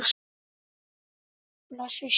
Blessuð sé minning Önnu frænku.